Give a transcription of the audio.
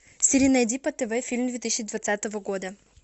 сири найди по тв фильм две тысячи двадцатого года